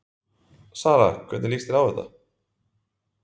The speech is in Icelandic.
Sara, hvernig lýst þér á þetta?